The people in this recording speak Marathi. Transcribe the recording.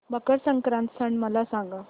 मकर संक्रांत सण मला सांगा